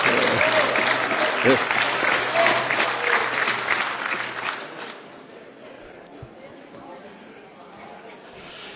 Monsieur le Président, Madame la Chancelière, bienvenue à Strasbourg, siège symbolique, mais je vous le signale, très menacé, de ce Parlement.